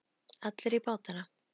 Allir í bátana!